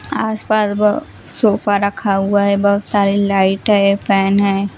आसपास ब सोफा रखा हुआ है बहुत सारे लाइट है फैन है।